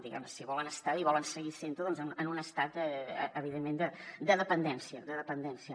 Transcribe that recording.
diguem ne si volen estar bé i volen seguir sent ho en un estat evidentment de dependència de dependència